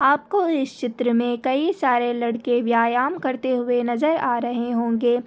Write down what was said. आपको इस चित्र मे कई सारे लड़के व्यायाम करते हुए नजर आ रहे होंगे।